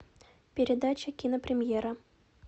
передача кинопремьера